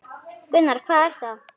Gunnar: Hvað er það?